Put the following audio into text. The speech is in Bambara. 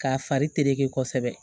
K'a fari terereke kosɛbɛ